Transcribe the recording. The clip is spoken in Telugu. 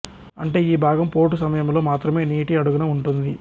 అంటే ఈ భాగం పోటు సమయంలో మాత్రమే నీటి అడుగున ఉంటుంది